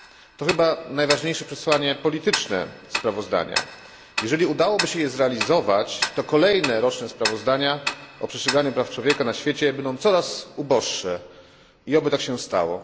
To chyba najważniejsze przesłanie polityczne sprawozdania. Jeżeli udałoby się je zrealizować, to kolejne roczne sprawozdania o przestrzeganiu praw człowieka na świecie będą coraz uboższe i oby tak się stało.